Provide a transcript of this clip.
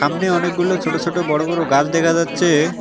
সামনে অনেকগুলো ছোট ছোট বড় বড় গাছ দেখা যাচ্ছে।